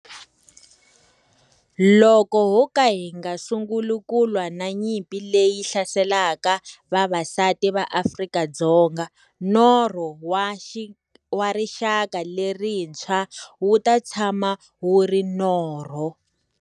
Loko ho ka hi nga sunguli ku lwa na nyimpi leyi hlaselaka vaxisati va Afrika-Dzonga, norho wa rixaka lerintshwa wu ta tshama wu ri norho.